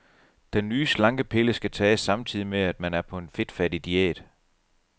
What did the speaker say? Den nye slankepille skal tages samtidig med, at man er på en fedtfattig diæt.